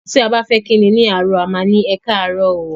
Ti a ba fe ki ni àárọ̀ a má ni "Ekaaarọ o"